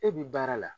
E bi baara la